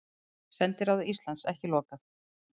Sendiráði Íslands ekki lokað